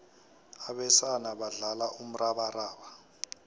abesana badlala umrabaraba